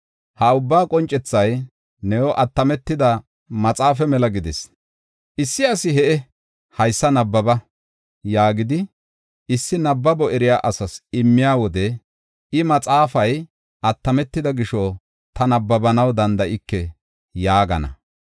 Ha ubba qoncethay new attametida maxaafa mela gidis. Issi asi, “He7e, haysa nabbaba” yaagidi, issi nabbabo eriya asas immiya wode, I, “Maxaafay attametida gisho, ta nabbabanaw danda7ike” yaagana.